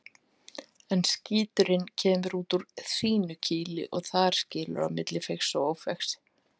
En skíturinn kemur út úr þínu kýli og þar skilur á milli feigs og ófeigs.